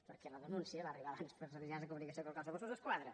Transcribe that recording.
perquè la denúncia va arribar abans als mitjans de comunicació que al cos de mossos d’esquadra